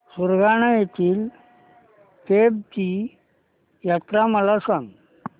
सुरगाणा येथील केम्ब ची यात्रा मला सांग